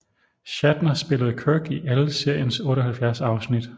Shatner spillede Kirk i alle seriens 78 afsnit